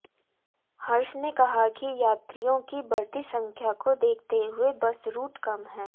हर्ष ने कहा कि यात्रियों की बढ़ती संख्या को देखते हुए बस रूट कम हैं